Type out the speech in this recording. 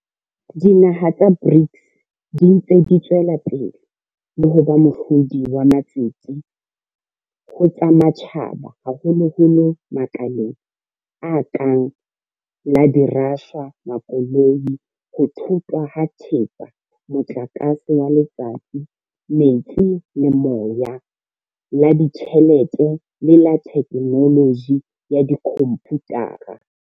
Dinaha tsa BRICS di ntse di tswela pele ho ba mohlodi wa matsete ho tsa matjhaba haholoholo makaleng a kang la dirashwa, makoloi, ho thothwa ha thepa, motlakase wa letsatsi, metsi le moya, la ditjhelete le la thekenoloji ya dikhomputara.